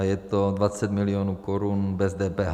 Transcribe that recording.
A je to 20 milionů korun bez DPH.